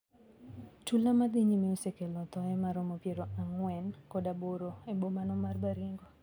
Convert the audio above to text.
Tula madhi nyime osekelo thoe maromo piero ang`wen kod aboro ebomano mar Baringo.